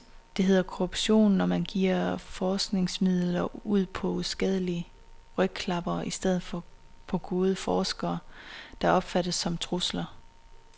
Det hedder korruption, når man giver forskningsmidler ud på uskadelige rygklappere i stedet for på gode forskere, der opfattes som trusler.